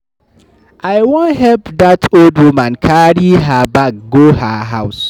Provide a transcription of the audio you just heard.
I wan help dat old woman carry her bag go her house.